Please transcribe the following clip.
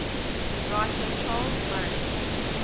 writer charles murray